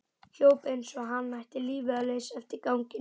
Hljóp eins og hann ætti lífið að leysa eftir ganginum.